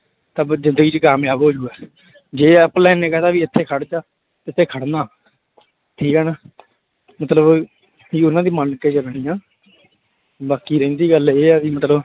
ਤਾਂ ਫਿਰ ਜ਼ਿੰਦਗੀ ਚ ਕਾਮਯਾਬ ਹੋ ਜਾਊਗਾ ਜੇ online ਨੇ ਕਹਿ ਦਿੱਤਾ ਵੀ ਇੱਥੇ ਖੜ ਜਾ, ਇੱਥੇ ਖੜਨਾ ਠੀਕ ਹੈ ਨਾ ਮਤਲਬ ਕਿ ਉਹਨਾਂ ਦੀ ਮੰਨ ਕੇ ਚੱਲਣੀ ਆਂ ਬਾਕੀ ਰਹਿੰਦੀ ਗੱਲ ਇਹ ਆ ਵੀ ਮਤਲਬ